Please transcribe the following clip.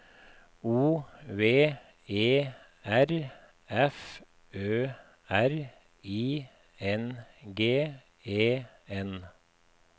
O V E R F Ø R I N G E N